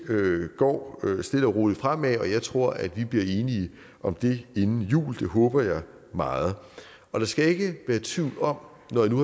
går stille og roligt fremad og jeg tror at vi bliver enige om det inden jul det håber jeg meget og der skal ikke være tvivl om når nu